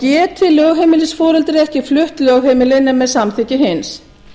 geti lögheimilisforeldrið ekki flutt lögheimili nema með samþykki hins